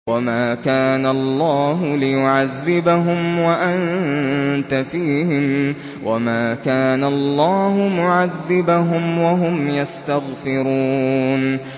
وَمَا كَانَ اللَّهُ لِيُعَذِّبَهُمْ وَأَنتَ فِيهِمْ ۚ وَمَا كَانَ اللَّهُ مُعَذِّبَهُمْ وَهُمْ يَسْتَغْفِرُونَ